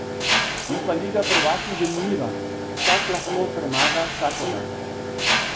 Je pa liga prvakinj zanimiva, vsak lahko premaga vsakogar.